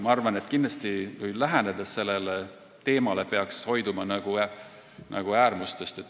Ma arvan, et me peaksime sellele teemale lähenedes hoiduma äärmustest.